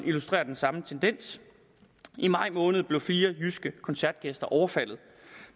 illustrerer den samme tendens i maj måned blev fire jyske koncertgæster overfaldet